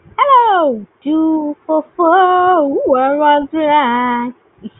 Hello, two four four one one three nine